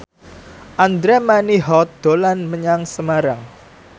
Andra Manihot dolan menyang Semarang